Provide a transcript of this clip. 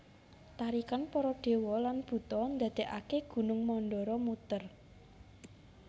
Tarikan para dewa lan buta ndadekaké Gunung Mandara muter